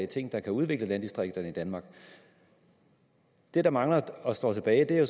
ting der kan udvikle landdistrikterne i danmark det der mangler og står tilbage er